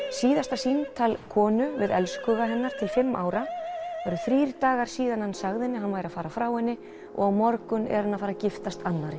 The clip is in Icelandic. síðasta símtal konu við elskhuga hennar til fimm ára það eru þrír dagar síðan hann sagði henni að hann væri að fara frá henni og á morgun er hann að fara að giftast annarri